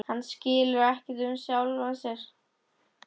Hann skilur ekkert í sjálfum sér.